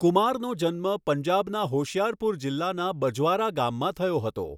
કુમારનો જન્મ પંજાબના હોશિયારપુર જિલ્લાના બજવારા ગામમાં થયો હતો.